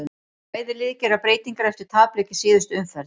Bæði lið gera breytingar eftir tapleiki í síðustu umferð.